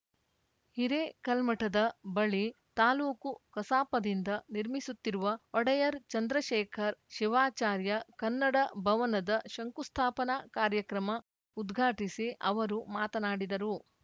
ಹಿರೇಕಲ್ಮಠದ ಬಳಿ ತಾಲೂಕು ಕಸಾಪದಿಂದ ನಿರ್ಮಿಸುತ್ತಿರುವ ಒಡೆಯರ್‌ ಚಂದ್ರಶೇಖರ್ ಶಿವಾಚಾರ್ಯ ಕನ್ನಡ ಭವನದ ಶಂಕುಸ್ಥಾಪನಾ ಕಾರ್ಯಕ್ರಮ ಉದ್ಘಾಟಿಸಿ ಅವರು ಮಾತನಾಡಿದರು